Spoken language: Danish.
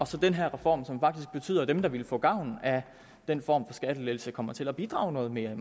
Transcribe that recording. til den her reform som faktisk betyder at dem der ville få gavn af den form for skattelettelse kommer til at bidrage noget mere